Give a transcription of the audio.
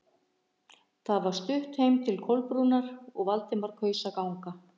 Það var stutt heim til Kolbrúnar og Valdimar kaus að ganga.